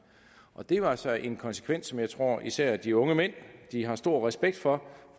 og det var altså en konsekvens som jeg tror især de unge mænd har stor respekt for